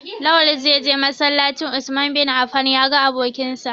Lawal zai je masallacin "Usman bin Affan" ya ga abokinsa.